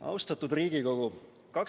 Austatud Riigikogu!